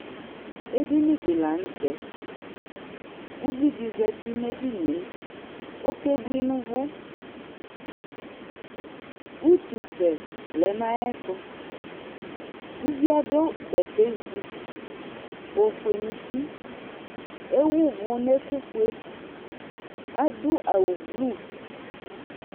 Edini dɩ la nʋ tɛ Uvi dɩ zati nʋ edini yɛ Ɔkebui nʋ ʋvʋ Utusɛ lɛ nʋ ayɛtʋ Uvi yɛ adʋ bɛtɛzi, ofue nʋ uti Ewu ʋvʋ nʋ ɛkʋfue Adʋ awʋblu